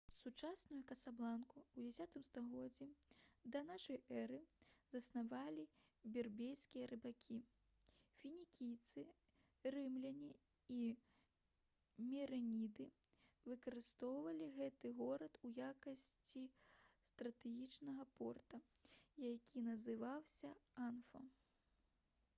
сучасную касабланку у 10 стагоддзі да нашай эры заснавалі берберскія рыбакі фінікійцы рымляне і мерэніды выкарыстоўвалі гэты горад у якасці стратэгічнага порта які называўся анфа